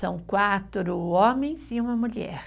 São quatro homens e uma mulher.